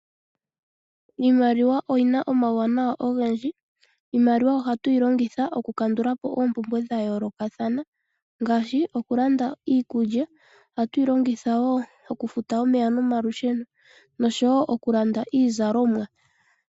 Iimaliwa oyina omawuwanawa ogendji. Iimaliwa ohatu yi longitha okukandula po oompumbwe dhetu dha yoolokathana ngaashi okulanda iikulya. Ohatu yi longitha wo okufuta omaye nomalusheno noshowo okulanda iizalomwa.